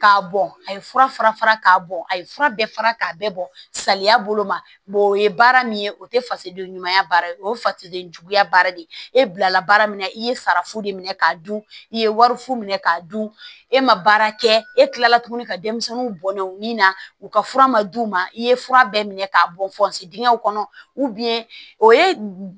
K'a bɔn a ye fura fara fara k'a bɔ a ye fura bɛɛ fara k'a bɛɛ bɔ salaya bolo ma o ye baara min ye o tɛ fasigiden ɲuman baara o ye fasigen juguya baara de ye e bilala baara min na i ye farafu de minɛ k'a dun i ye wari fu minɛ k'a dun e ma baara kɛ e tilala tuguni ka denmisɛnninw bɔn nɛ u ni na u ka fura ma d'u ma i ye fura bɛɛ minɛ k'a bɔn dingɛw kɔnɔ o ye